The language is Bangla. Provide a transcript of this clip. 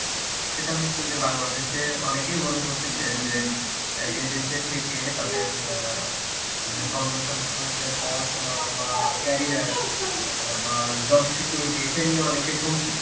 সেটা হচ্ছে বাংলাদেশে অনেকেই মনে করতাছে যে এদেশে থেকে যে তাদের সন্তান-সন্ততিদের পড়াশোনা বা carear বা job security এটা নিয়ে অনেকেই সঙ্কিত.